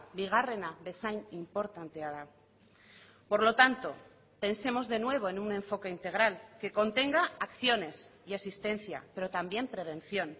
bigarrena bezain inportantea da por lo tanto pensemos de nuevo en un enfoque integral que contenga acciones y asistencia pero también prevención